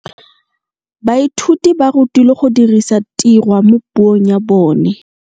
Baithuti ba rutilwe go dirisa tirwa mo puong ya bone.